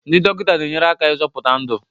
ndị dọkịta na-enyere aka ịzọpụta ndụ